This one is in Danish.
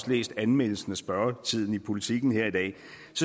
læst anmeldelsen af spørgetiden i politiken her i dag